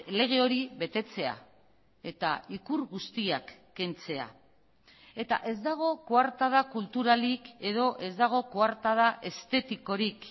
lege hori betetzea eta ikur guztiak kentzea eta ez dago koartada kulturalik edo ez dago koartada estetikorik